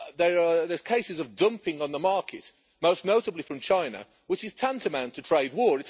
There are cases of dumping on the market, most notably from China, which is tantamount to trade war.